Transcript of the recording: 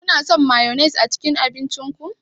Kuna son mayones a cikin abincin ku?